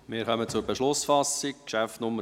Wir kommen zur Beschlussfassung, Traktandum 22: